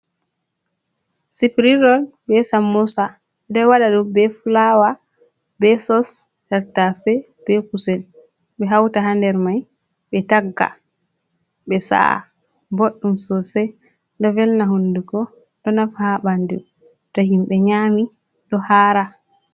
Siprirol be sammusa doi wada ɗum be fulawa, be sos, tartase, be kusel, ɓe hauta ha nder mai ɓe tagga ɓe sa’a boddum sosai ɗo velna hundugo, ɗo nafa ha ɓandu to himɓɓe nyami ɗo hara.